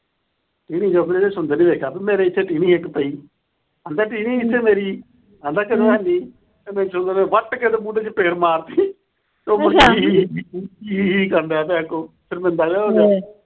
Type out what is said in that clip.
ਜਦੋਂ ਸੁੰਦਰ ਨੇ ਦੇਖਿਆ ਮੇਰੇ ਇੱਥੇ ਟੀਹਵੀ ਸੀ ਇੱਕ ਪਈ। ਆਂਹਦਾ ਟੀਵੀ ਕਿੱਥੇ ਮੇਰੀ। ਕਹਿੰਦਾ ਇੱਥੇ ਹੈ ਨੀ। ਭਾਈ ਸੁੰਦਰ ਨੇ ਵੱਟ ਕੇ ਉਹਦੇ ਮੂੰਹ ਤੇ ਚਪੇੜ ਮਾਰ ਤੀ। ਹੀਂ ਹੀਂ ਕਰਦਾ ਪਿਆ ਅੱਗੋ ਸ਼ਰਮਿੰਦਾ ਜਾ ਹੋ ਕੇ।